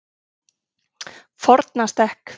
Fornastekk